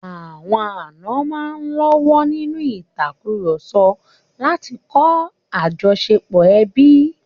Àwọn àna máa ń lọ́wọ́ nínú ìtàkurọ̀sọ láti kọ́ àjọṣepọ̀ ẹbí.